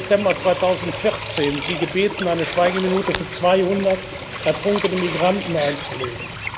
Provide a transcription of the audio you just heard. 15. September 2014 gebeten, eine Schweigeminute für 200 ertrunkene Migranten einzulegen.